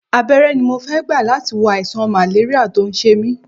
Abẹ́rẹ́ ni mo fẹ́ gbà láti wo àìsàn màléríà tó ń ṣe mí